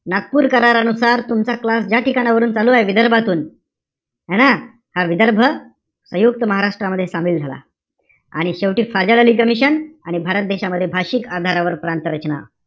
नागपूर करारानुसार, तुमचा class ज्या ठिकाणावरून चालूय, विदर्भातून. है ना? विदर्भ, सयुंक्त महाराष्ट्रामध्ये सामील झाला. आणि शेवटी फाझल अली कमिशन आणि भारत देशामध्ये भाषिक आधारावर प्रांत रचना,